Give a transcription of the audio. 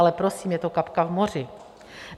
Ale prosím, je to kapka v moři.